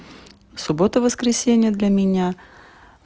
в субботу-воскресенье для меня